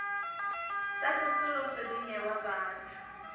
tsa tsosoloso di newa batho